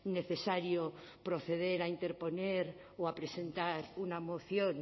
necesario proceder a interponer o a presentar una moción